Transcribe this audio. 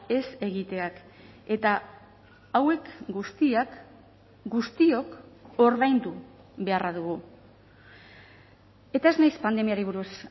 ez egiteak eta hauek guztiak guztiok ordaindu beharra dugu eta ez naiz pandemiari buruz